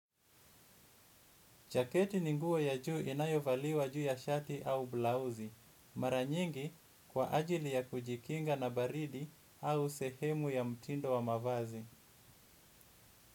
Jaketi ni nguo ya juu inayovaliwa juu ya shati au blauzi, mara nyingi kwa ajili ya kujikinga na baridi au sehemu ya mtindo wa mavazi.